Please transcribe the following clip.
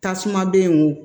Tasumadenw